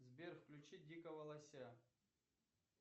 сбер включи дикого лося